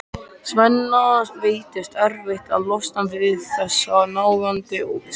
Svenna veitist erfitt að losna við þessa nagandi óvissu.